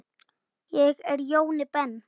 Ég er Jóni Ben.